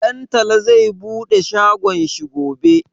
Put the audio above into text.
Ɗantala zai bude shagon shi gobe.